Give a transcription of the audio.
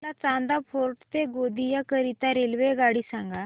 मला चांदा फोर्ट ते गोंदिया करीता रेल्वेगाडी सांगा